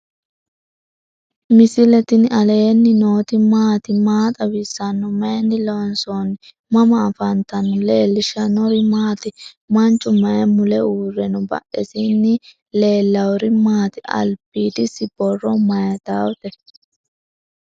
misile tini alenni nooti maati? maa xawissanno? Maayinni loonisoonni? mama affanttanno? leelishanori maati? manchu mayi mule uure no?badhesini lelawori mati? albidisi borro mayitawote?